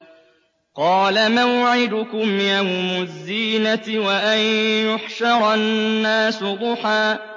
قَالَ مَوْعِدُكُمْ يَوْمُ الزِّينَةِ وَأَن يُحْشَرَ النَّاسُ ضُحًى